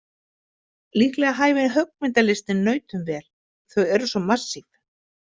Líklega hæfir höggmyndalistin nautum vel, þau eru svo massíf.